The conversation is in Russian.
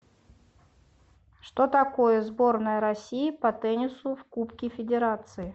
что такое сборная россии по теннису в кубке федерации